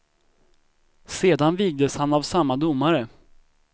Sedan vigdes han av samma domare.